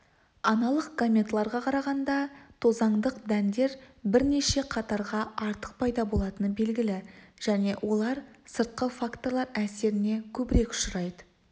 аналық гаметаларға қарағанда тозаңдық дәндер бірнеше қатарға артық пайда болатыны белгілі және олар сыртқы факторлар әсеріне көбірек ұшырайды